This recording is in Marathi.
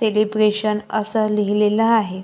सेलिब्रेशन असं लिहलेलं आहे.